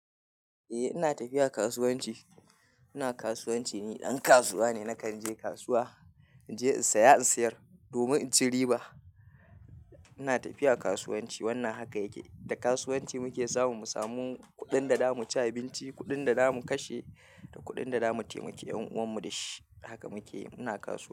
Eh ina tafiya kasuwanci, ina kasuwanci ni, ɗan kasuwa ne nakan je kasuwa. In je in saya in sayar domin in ci riba. Ina tafiya kasuwanci wannan haka yake, da kasuwanci muke samu, mu samu kuɗin da zamu ci abinci, kuɗin da zamu kashe da kuɗin da zamu taimaki ƴan'uwan mu da shi. Haka muke muna kasuwa.